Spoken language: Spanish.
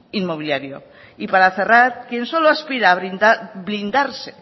inmobiliario y para cerrar quien solo aspira a blindarse